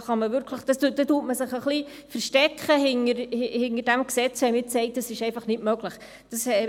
Man versteckt sich ein wenig hinter diesem Gesetz, wenn man jetzt sagt, dass es einfach nicht möglich sei.